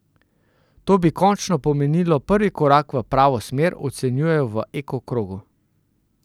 To bi končno pomenilo prvi korak v pravo smer, ocenjujejo v Eko krogu.